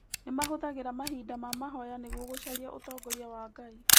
Nĩ mahũthagĩra mahinda ma mahoya nĩguo gũcaria ũtongoria wa Ngai.